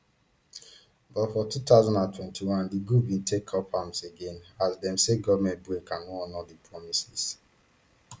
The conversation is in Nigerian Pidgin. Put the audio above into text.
but for two thousand and twenty-one di group bin take up arms again as dem say goment break and no honour di promises